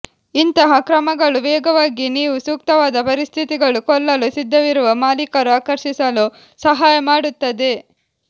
ಇಂತಹ ಕ್ರಮಗಳು ವೇಗವಾಗಿ ನೀವು ಸೂಕ್ತವಾದ ಪರಿಸ್ಥಿತಿಗಳು ಕೊಳ್ಳಲು ಸಿದ್ಧವಿರುವ ಮಾಲೀಕರು ಆಕರ್ಷಿಸಲು ಸಹಾಯ ಮಾಡುತ್ತದೆ